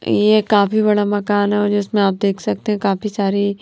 ये काफी बड़ा मकान है और जिसमें आप देख सकते हैं काफी सारी।